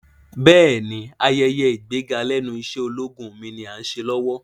Bẹ́ẹ̀ni, ayẹyẹ ìgbéga lẹ́nu iṣẹ́ ológun mi ni Áà ń ṣe lọ́wọ́